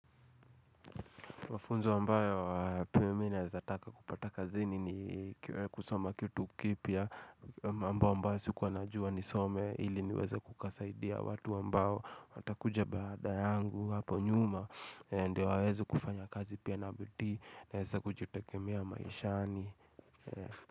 Mafunzo ambayo aa pia mimi naweza taka kupata kazini ni kusoma kitu kipya. Mambo ambayo sikuwa najua nisome ili niweze kukasaidia watu ambao Watakuja baada yangu hapo nyuma Ndiyo waweze kufanya kazi pia na bidii. Naweza kujitegemea maishani.